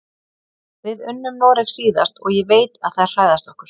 Við unnum Noreg síðast og ég veit að þær hræðast okkur.